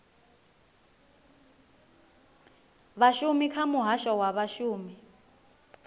vhashumi kha muhasho wa vhashumi